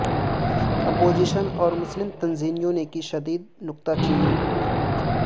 opposition اور مسلم تنظیموں نے کی شدید نکتہ چینی